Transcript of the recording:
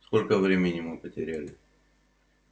сколько времени мы потеряли